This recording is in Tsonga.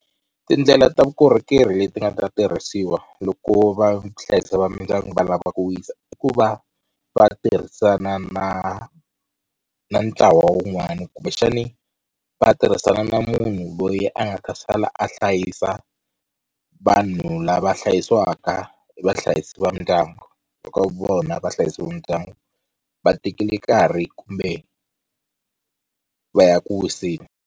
Tindlela ta vukorhokeri leti nga ta tirhisiwa loko va vuhlayisi va mindyangu va lava ku wisa, i ku va va tirhisana na na ntlawa wun'wana kumbexani va tirhisana na munhu loyi a nga ta sala a hlayisa vanhu lava hlayisiwaka hi vahlayisi va mindyangu, loko vona vahlayisi va ndyangu va tekile nkarhi kumbe va ya eku wiseni.